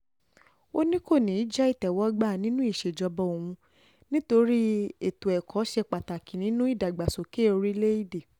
ó ní kò ní í jẹ́ ìtẹ́wọ́gbà nínú ìṣèjọba òun nítorí ètò ẹ̀kọ́ ṣe pàtàkì nínú ìdàgbàsókè orílẹ̀-èdè